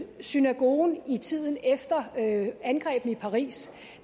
synagogen i tiden efter angrebene i paris